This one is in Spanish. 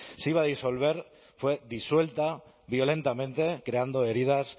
se iba a disolver fue disuelta violentamente creando heridas